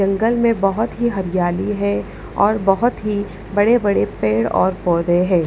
जंगल में बहुत ही हरियाली है और बहुत ही बड़े-बड़े पेड़ और पौधे हैं।